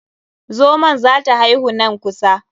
Zomon za ta haihu nan kusa.